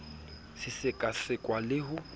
se seka sekwa le ho